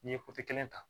N'i ye kelen ta